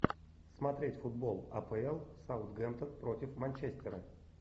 смотреть футбол апл саутгемптон против манчестера